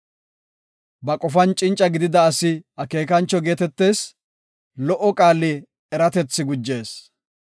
Ba qofan cinca gidida asi akeekancho geetetees; lo77o qaali eratethi gujees.